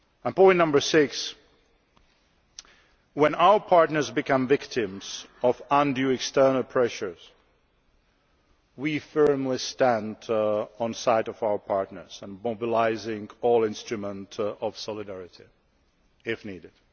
Point number six is that when our partners become victims of undue external pressures, we stand firmly on the side of our partners and mobilise all instruments of solidarity if needed.